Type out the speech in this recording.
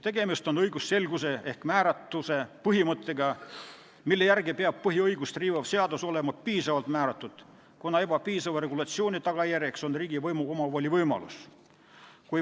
Tegemist on õigusselguse ehk määratuse põhimõttega, mille järgi peab põhiõigust riivav seadus olema piisavalt määratud, kuna ebapiisava regulatsiooni tagajärjeks on riigivõimu omavoli võimalus.